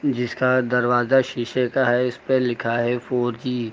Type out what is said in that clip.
जिसका दरवाजा शीशे का है इस पे लिखा है फोर जी ।